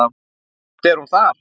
Samt er hún þar.